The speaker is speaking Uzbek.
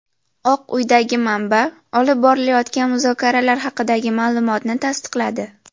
Oq uydagi manba olib borilayotgan muzokaralar haqidagi ma’lumotni tasdiqladi.